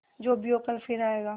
जो भी हो कल फिर आएगा